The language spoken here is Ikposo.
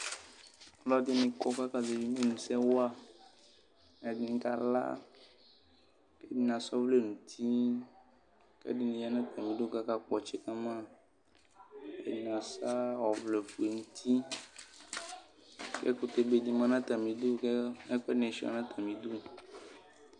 Alʋɛdɩnɩ kɔ kʋ akazɛvɩ imenusɛ wa Ɛdɩnɩ kala kʋ ɛdɩnɩ asa ɔvlɛ nʋ uti kʋ ɛdɩnɩ ya nʋ atamɩdu kʋ akakpɔ ɔtsɛ ka ma ɛdɩnɩ asa ɔvlɛ nʋ uti kʋ ɛkʋtɛ be dɩ ma nʋ atamɩdu kʋ ɛkʋɛdɩnɩ sʋɩa nʋ atamɩdiu